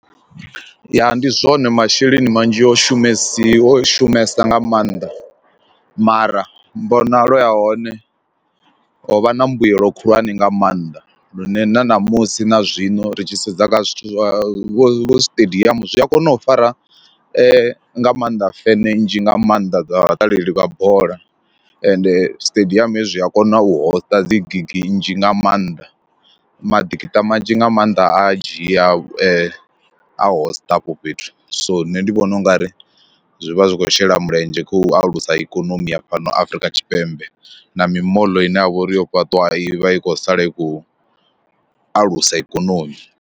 Ya ndi zwone masheleni manzhi o shumesiwa o shumesa nga maanḓa mara mmbonalo ya hone ho vha na mbuyelo khulwane nga maanḓa lune na ṋamusi na zwino ri tshi sedza kha zwithu zwa vho siṱediamu zwi a kona u fara nga maanḓa feme nzhi nga maanḓa dza vhaṱaleli vha bola ende stadium hezwi a kona u hosta dzi gigi nzhi nga maanḓa maḓikiṱa manzhi nga maanḓa a dzhia a hosta afho fhethu. So nṋe ndi vhona ungari zwi vha zwi khou shela mulenzhe kha u alusa ikonomi ya fhano Afrika Tshipembe na mimoḽo ine ya vha uri yo fhaṱiwa i vha i khou sala i khou alusa ikonomi.